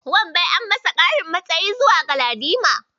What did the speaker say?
Wanbai an masa ƙarin matsayi zuwa Galadima.